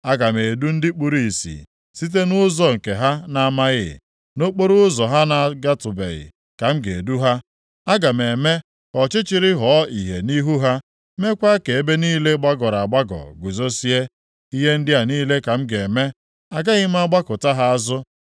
Aga m edu ndị kpuru ìsì, site nʼụzọ nke ha na-amaghị, nʼokporoụzọ ha agatụbeghị ka m ga-edu ha; Aga m eme ka ọchịchịrị ghọọ ìhè nʼihu ha, meekwa ka ebe niile gbagọrọ agbagọ guzozie. Ihe ndị a niile ka m ga-eme. Agaghị m agbakụta ha azụ.